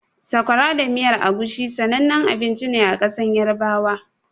Sakwara da miyar Egusi sanannen abinci ne a ƙasar Yarabawa.